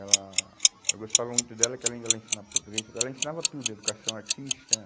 Ela, eu gostava muito dela porque ela, além dela ensinar português, ela ensinava tudo, educação artística.